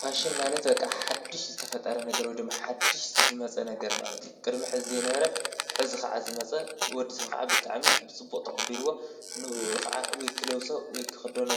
ፋሽን ማለት በቓ ሓድሽ ዝተፈጠረ ነገር ወየ ደማ ሓድሽ ዝመጸአ ነገር ማለት እዩ፡፡ ቅድሚ ሕዚ ዘይነበረ ሕዚ ኸዓ ዝመጸ ወድሰብ ኸዓ ብጣዕሚ ብፅቡቕ ተቐቢለዎ ንእኡ ኸዓ ወይ ክለብሶ ወይ ክኽዶኖ